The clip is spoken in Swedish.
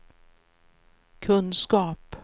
kunskap